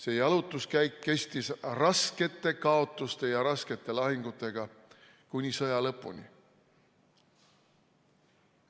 See jalutuskäik kestis raskete kaotuste ja raskete lahingutega kuni sõja lõpuni.